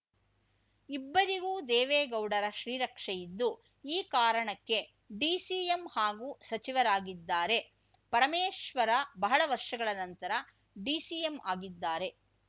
ಇಬ್ಬರಿಗೂ ದೇವೇಗೌಡರ ಶ್ರೀರಕ್ಷೆ ಇದ್ದು ಈ ಕಾರಣಕ್ಕೆ ಡಿಸಿಎಂ ಹಾಗೂ ಸಚಿವರಾಗಿದ್ದಾರೆ ಪರಮೇಶ್ವರ ಬಹಳ ವರ್ಷಗಳ ನಂತರ ಡಿಸಿಎಂ ಆಗಿದ್ದಾರೆ